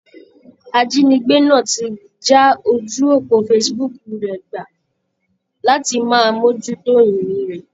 Ajínigbé náà ti já ojú òpó Facebook rẹ̀ gbà láti máa mójú tó ìrìn rẹ̀.